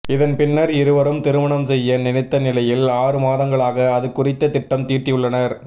இதன்பின்னர் இருவரும் திருமணம் செய்ய நினைத்த நிலையில் ஆறு மாதங்களாக அது குறித்து திட்டம் தீட்டியுள்ளனர்